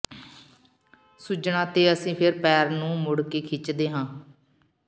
ਸੁੱਜਣਾ ਤੇ ਅਸੀਂ ਫਿਰ ਪੈਰ ਨੂੰ ਮੁੜ ਕੇ ਖਿੱਚਦੇ ਹਾਂ